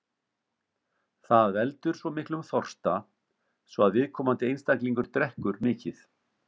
Það veldur miklum þorsta, svo að viðkomandi einstaklingur drekkur mikið.